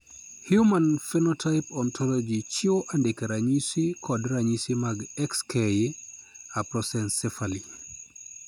Human Phenotype Ontology chiwo andike ranyisi kod ranyisi mag XK aprosencephaly.